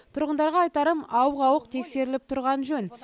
тұрғындарға айтарым ауық ауық тексеріліп тұрған жөн